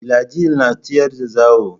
Filajil na tsayar da zawo.